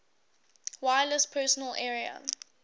wireless personal area